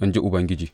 in ji Ubangiji.